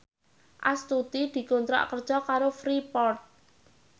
Astuti dikontrak kerja karo Freeport